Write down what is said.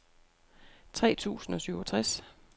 tre tusind og syvogtres